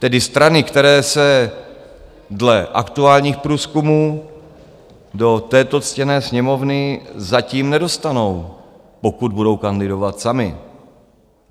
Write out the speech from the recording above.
Tedy strany, které se dle aktuálních průzkumů do této ctěné Sněmovny zatím nedostanou, pokud budou kandidovat samy.